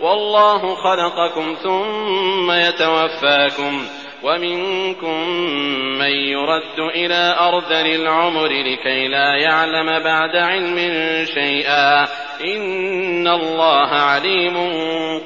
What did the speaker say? وَاللَّهُ خَلَقَكُمْ ثُمَّ يَتَوَفَّاكُمْ ۚ وَمِنكُم مَّن يُرَدُّ إِلَىٰ أَرْذَلِ الْعُمُرِ لِكَيْ لَا يَعْلَمَ بَعْدَ عِلْمٍ شَيْئًا ۚ إِنَّ اللَّهَ عَلِيمٌ